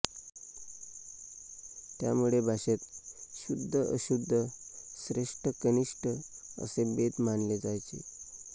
त्यामुळे भाषेत शुद्ध अशुद्ध श्रेष्ठ कनिष्ठ असे भेद मानले जायचे